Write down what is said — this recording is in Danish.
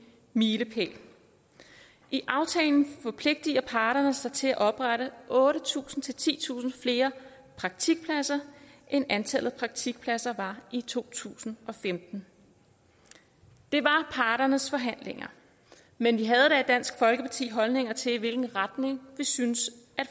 milepæl i aftalen forpligter parterne sig til at oprette otte tusind titusind flere praktikpladser end antallet af praktikpladser var i to tusind og femten det var parternes forhandlinger men vi havde da i dansk folkeparti holdninger til i hvilken retning vi synes